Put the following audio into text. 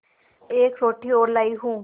एक रोटी और लाती हूँ